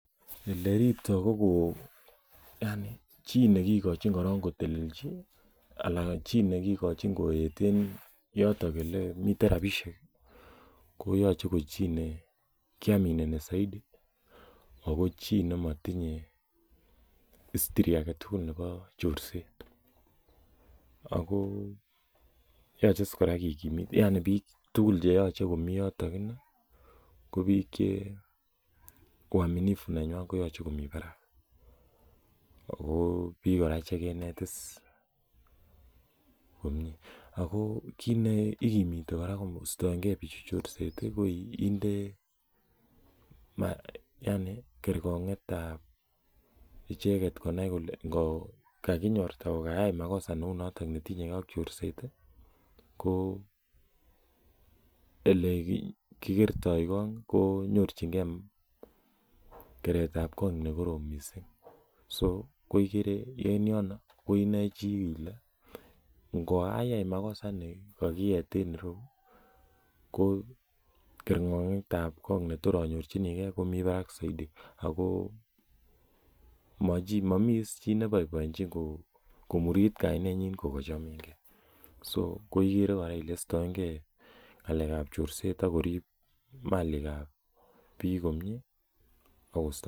Olekiripto koroi yani ko chi nekiyani kotelelji anan chi nekikochin koet en yoton ye mi rapisiek ko yoche ko chi ne kiamineni saiti ago chi ne matinye istori agetugul nebo chorset ago yocheskora kigimit yaani biik tugul che yoche komi yoton ko biik che uaminifu nenywan ko yoche komi barak ago biik kora che ketet kora komie. Ago kit ne igimiti kora koistoenge biik chorset ko kikinde kergongetab icheget konai kole ko kakinyorta ko kayai makosa inoto netinyeke ak chorset ko elekikertoi kong ko nyorchinge keretab kong nekorom mising. Sokoikere en yono koinoe chi ile ngokayai makosa ini ko kakiyet en ereu ko korkongetab kong netor anyorchinige komi barak saiti ago mamischi ne boiboenjin komurit kainenyin kokachamenge. Sokoigere kora kole istoenge ngakekab chorset ak koistoenge malikab biik komie ak kosto.